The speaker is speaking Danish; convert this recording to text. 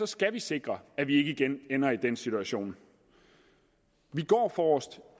skal vi sikre at vi ikke igen ender i den situation vi går forrest